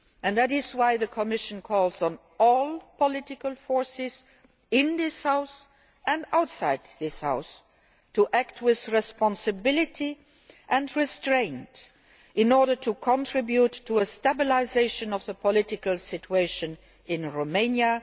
That is why the Commission calls on all political forces in this House and outside this House to act with responsibility and restraint in order to contribute to a stabilisation of the political situation in Romania.